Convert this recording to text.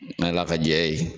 N'Ala ka jɛ ye.